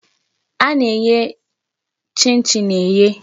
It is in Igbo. A na-eye chin chin eye.